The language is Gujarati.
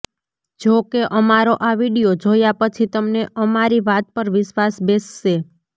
જોકે અમારો આ વીડિયો જોયા પછી તમને અમારી વાત પર વિશ્વાસ બેસશે